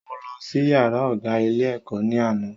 Mo lọ sí yàrá ọ̀gá ilé ẹ̀kọ́ ní àná